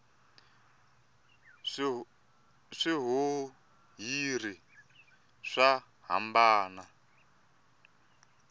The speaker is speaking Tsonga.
swihuhiri swa hambana